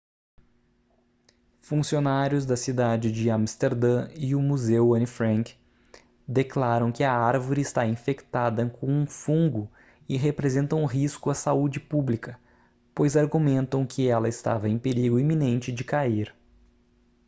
funcionários da cidade de amsterdã e o museu anne frank declaram que a árvore está infectada com um fungo e representa um risco à saúde pública pois argumentam que ela estava em perigo iminente de cair